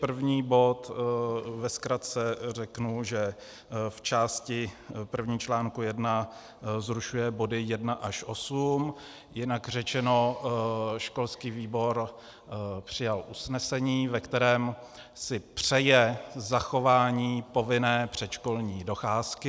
První bod - ve zkratce řeknu, že v části první článku 1 zrušuje body 1 až 8, jinak řečeno školský výbor přijal usnesení, ve kterém si přeje zachování povinné předškolní docházky.